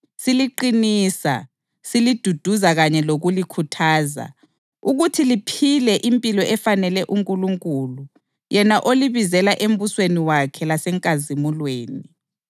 siliqinisa, siliduduza kanye lokulikhuthaza ukuthi liphile impilo efanele uNkulunkulu yena olibizela embusweni wakhe lasenkazimulweni.